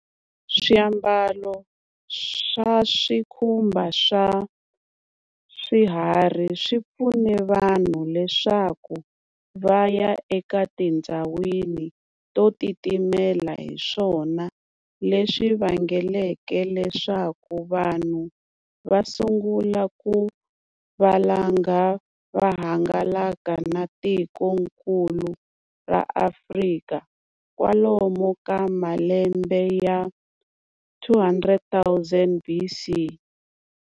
Swiambalo swa swikhumba swa swiharhi swipfune vanhu leswaku va ya aka etindzawini totitimela, hiswona leswivangeleke leswaku vanhu vasungula ku valanga vahangalaka na tiko nkulu ro Afrika kwalomu ka malembe ya 200,000 BC.